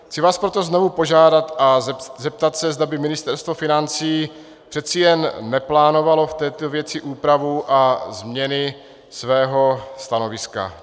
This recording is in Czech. Chci vás proto znovu požádat a zeptat se, zda by Ministerstvo financí přece jen neplánovalo v této věci úpravu a změny svého stanoviska.